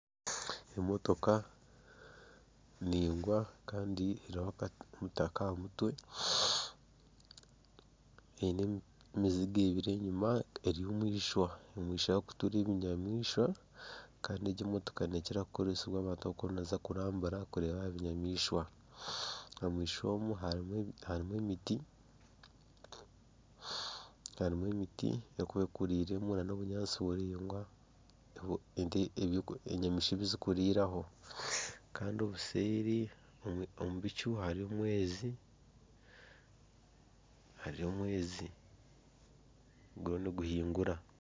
Emotoka ningwa Kandi eriho omutaka aha mutwe eine emiziga ebiri enyima eri omwishwa, omwishwa ahakutuura ebinyamishwa Kandi egi emotoka nekira kukoresebwa abantu abakuba nibaza kurambura kureeba ebinyamishwa. Omwishwa omu harimu emiti. Harimu emiti erikuba ekurire mu hamwe n'obunyaatsi buringwa obu enyamaishwa obuzirikurya ho kandi obuseeri omu bicu harimu omwezi guriyo niguhingura.